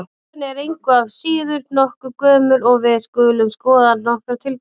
Trúin er engu að síður nokkuð gömul og við skulum skoða nokkrar tilgátur.